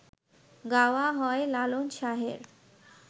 গাওয়া হয় লালন শাহের